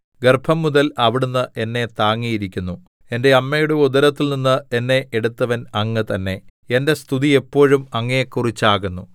ഗർഭംമുതൽ അവിടുന്ന് എന്നെ താങ്ങിയിരിക്കുന്നു എന്റെ അമ്മയുടെ ഉദരത്തിൽനിന്ന് എന്നെ എടുത്തവൻ അങ്ങ് തന്നെ എന്റെ സ്തുതി എപ്പോഴും അങ്ങയെക്കുറിച്ചാകുന്നു